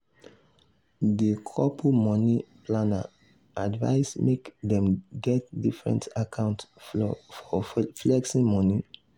the couple money planner advise make dem get different account for flexing money.